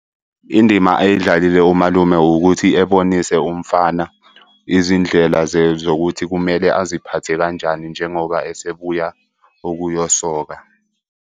Indima ayidlalile umalume ukuthi ebonise umfana izindlela zokuthi kumele aziphathe kanjani njengoba esebuya ukuyosoka.